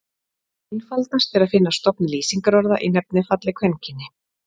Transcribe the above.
Einfaldast er að finna stofn lýsingarorða í nefnifalli kvenkyni.